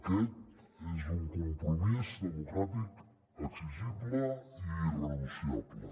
aquest és un compromís democràtic exigible i irrenunciable